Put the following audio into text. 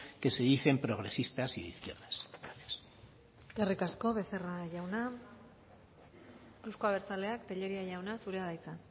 que se dicen progresistas y de izquierdas gracias eskerrik asko becerra jauna euzko abertzaleak tellería jauna zurea da hitza